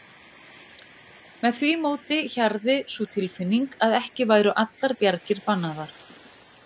Með því móti hjarði sú tilfinning að ekki væru allar bjargir bannaðar.